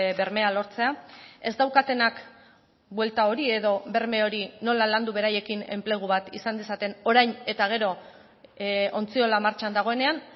bermea lortzea ez daukatenak buelta hori edo berme hori nola landu beraiekin enplegu bat izan dezaten orain eta gero ontziola martxan dagoenean